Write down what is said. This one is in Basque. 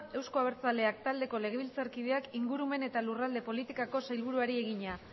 euzko abertzaleak taldeko legebiltzarkideak ingurumen eta lurralde politikako sailburuari egina